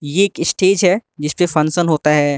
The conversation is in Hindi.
ये एक स्टेज है जिसपे फंक्शन होता है।